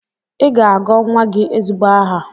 Ị ga-agọ nwa gị ezigbo aha!